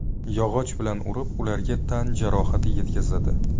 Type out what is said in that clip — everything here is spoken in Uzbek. Yog‘och bilan urib, ularga tan jarohati yetkazadi.